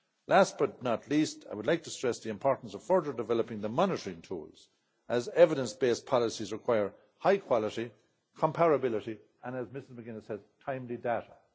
Last, but not least, I would like to stress the importance of further developing the monitoring tools, as evidence based policies require high quality, comparability and, as Ms McGuinness said, timely data.